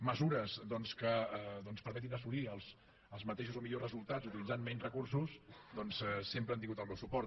mesures doncs que permetin assolir els mateixos o millors resultats utilitzant menys recursos doncs sempre han tingut el meu suport